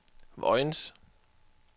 Vojens